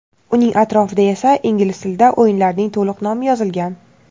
uning atrofida esa ingliz tilida o‘yinlarning to‘liq nomi yozilgan.